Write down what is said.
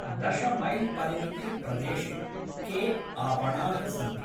दशमैल्परिमिते प्रदेशे के आपणाः सन्ति?